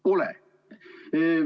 Pole.